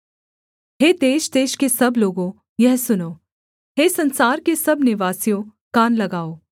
हे देशदेश के सब लोगों यह सुनो हे संसार के सब निवासियों कान लगाओ